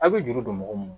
A' bɛ juru don mɔgɔ mun na